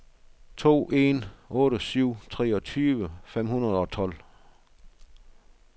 to en otte syv treogtyve fem hundrede og tolv